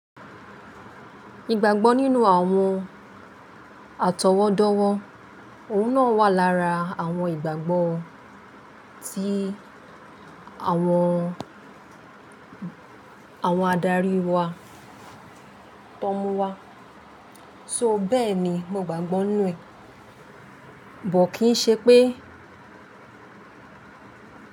Ìgbàgbọ́ nínú àwọn àtọwọ́dọ́wọ́, òun náà wà lára àwọn ìgbàgbọ́ tí àwọn, àwọn adarí wa tón mú wa. So bẹ́ẹ̀ni, mo gbàgbọ́ nù ẹ, bọ̀ kí n ṣe pé.